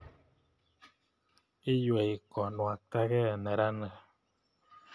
Iywei konwaitakei meranik